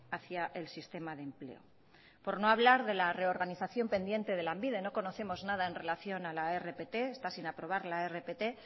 hacia el sistema de empleo por no hablar de la reorganización pendiente de lanbide no conocemos nada en relación a la rpt está sin aprobar la rpt